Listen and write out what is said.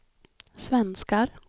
svenskar